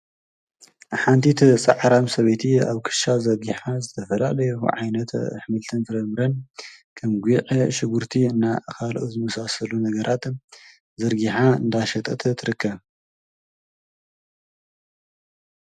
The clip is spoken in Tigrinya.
ሓንቲ ጻዕራም ሰበይቲ ኣብ ክሻ ዘርጊሓ ዝተፈላለዩ ዓይነት ኣሕምልትን ፍረ ምረን ከም ጉዕ ሽጉርቲ ካልኦት ዝመሳሰሉ ነገራት ዘርጊሓ እንዳሸጠት ትርከብ።